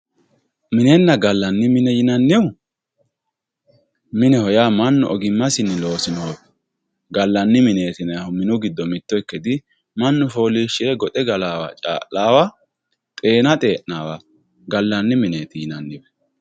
minenna gallanni mine yinannihu mineho yaa mannu ogimmasinni loosinohu gallanni mineeti yinayiihu mannu looso loosaawa xeena xee'naawa gallanni mineeti yinanni